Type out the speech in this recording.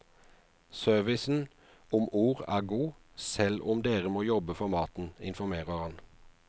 Servicen om ord er god, selv om dere må jobbe for maten, informerer han.